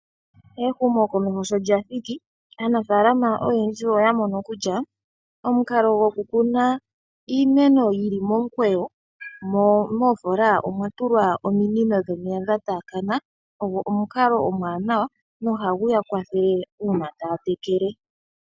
Ehumokomeho sho lya thiki, aanafaalama oyendji oya mono kutya, omukalo gwo kukuna iimeno yili momukweyo, mo moofola omwa tulwa ominino dhomeya dha taakana, ogo omukalo omwaanawa, na ohagu ya kwathele uuna taya tekele.